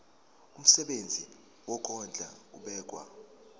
umsebenzi wokondla ubekwa